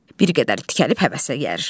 Bir qədər tikəlib həvəsə gəlir.